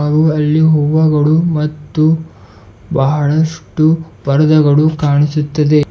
ಹಾಗೂ ಅಲ್ಲಿ ಹೂವಗಳು ಮತ್ತು ಬಹಳಷ್ಟು ಪರದಗಳು ಕಾಣಿಸುತ್ತದೆ.